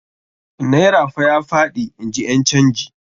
Naira fa ya faɗi, in ji ƴan canji.